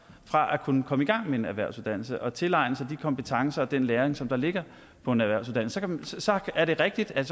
fra at kunne komme i gang med en erhvervsuddannelse og tilegne sig de kompetencer og den læring som der ligger på en erhvervsuddannelse så så er det rigtigt at